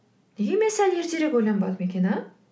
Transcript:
неге мен сәл ертерек ойланбадым екен а